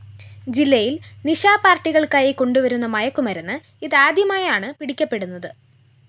ജില്ലയില്‍ നിശാ പാര്‍ട്ടികള്‍ക്കായി കൊണ്ടുവരുന്ന മയക്കുമരുന്ന് ഇതാദ്യമായാണ് പിടിക്കപ്പെടുന്നത്